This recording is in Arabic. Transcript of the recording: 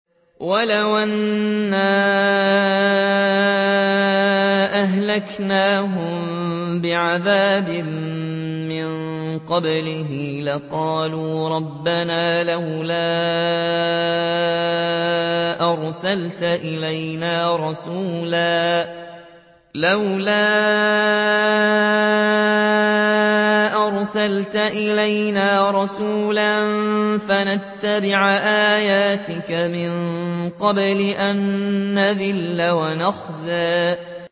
وَلَوْ أَنَّا أَهْلَكْنَاهُم بِعَذَابٍ مِّن قَبْلِهِ لَقَالُوا رَبَّنَا لَوْلَا أَرْسَلْتَ إِلَيْنَا رَسُولًا فَنَتَّبِعَ آيَاتِكَ مِن قَبْلِ أَن نَّذِلَّ وَنَخْزَىٰ